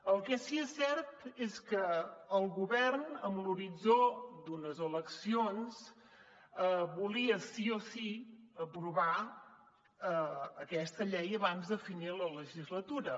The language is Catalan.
el que sí que és cert és que el govern amb l’horitzó d’unes eleccions volia sí o sí aprovar aquesta llei abans de finir la legislatura